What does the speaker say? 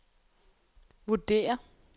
vurderer